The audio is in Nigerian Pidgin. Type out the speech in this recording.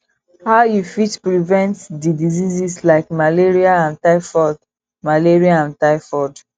how you fit prevent di diseases like malaria and typhoid malaria and typhoid